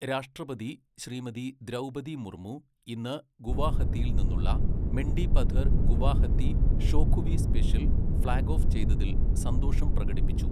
രാഷ്ട്രപതി ശ്രീമതി ദ്രൗപതി മുർമു ഇന്ന് ഗുവാഹത്തിയിൽ നിന്നുള്ള Mendipathar Guwahati Shokhuvi special flag off ചെയ്തതിൽ സന്തോഷം പ്രകടിപ്പിച്ചു.